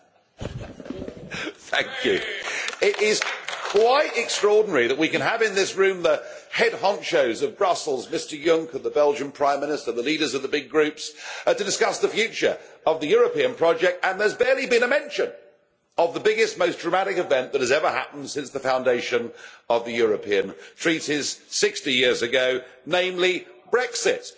Mr President, it is quite extraordinary that we can have in this room the head of Brussels Mr Juncker, the Belgian Prime Minister, the leaders of the big groups, to discuss the future of the European project, and there has barely been a mention of the biggest most dramatic event that has ever happened since the foundation of the European Treaties 60 years ago, namely Brexit.